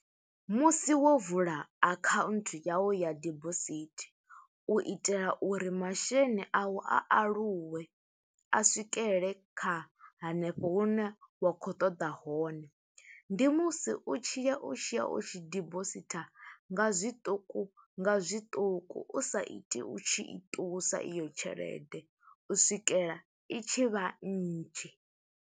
Musi wo vula akhaunthu yawu ya dibosithi, u itela uri masheleni a u, a aluwe. A swikelele kha hanefho hune wa khou ṱoḓa hone, ndi musi u tshi ya, u tshiya u tshi dibositha, nga zwiṱuku, nga zwiṱuku. U sa iti u tshi i ṱusa iyo tshelede, u swikela i tshi vha nnzhi.